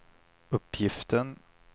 uppgiften